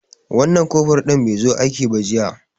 Wan nan kofur ɗin be zo aiki ba jiya